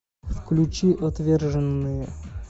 включи отверженные